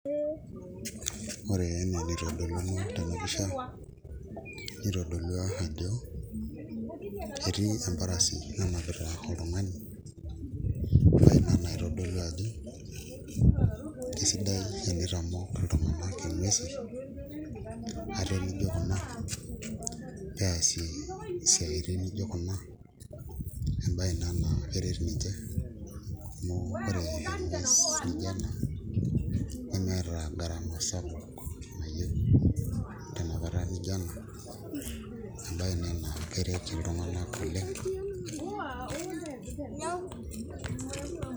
Ore enaa enaitodoluno tena pisha nitodolua ajo etii emparasi nanapita oltung'ani embaye ena naitodolu ajo kesidai tenitamok iltung'anak inguesi ate nijio kuna peasie isiaitin nijio kuna embaye ina naa keret ninche ore esiai nijio ena nmeeta garama sapuk tenapata nijio ena emabyei ina naa keret iltung'anak oleng'.